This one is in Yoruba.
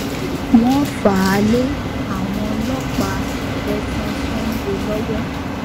wọ́n fà á lé àwọn ọlọ́pàá tẹ̀sán sango lọ́wọ́